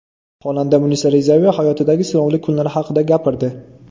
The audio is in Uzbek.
Xonanda Munisa Rizayeva hayotidagi sinovli kunlar haqida gapirdi.